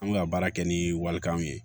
An bɛ ka baara kɛ ni walikanw ye